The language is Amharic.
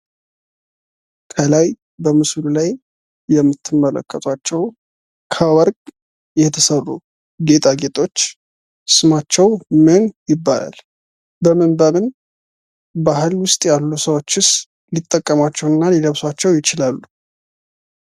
በምስሉ ላይ የምትመለከቷቸው ከወርቅ የተሰሩ ጌጣጌጦች ስማቸው ምን ይባላል? በምን በምን ባህል ውስጥ ያሉ ሰዎች ሊጠቀሟቸውና ሊለብሷቸው ይችላሉ?